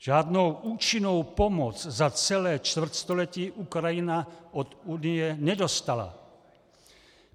Žádnou účinnou pomoc za celé čtvrtstoletí Ukrajina od Unie nedostala.